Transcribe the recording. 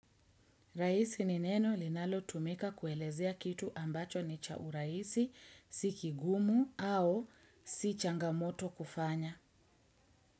Rahisi ni neno linalo tumika kuelezea kitu ambacho ni cha urahisi, si kigumu au si changamoto kufanya.